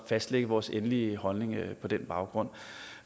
fastlægge vores endelige holdning på den baggrund